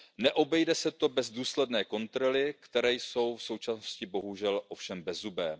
přítrž. Neobejde se to bez důsledných kontrol, které jsou v současnosti bohužel ovšem bezzubé.